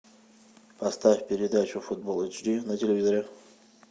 поставь передачу футбол эйч ди на телевизоре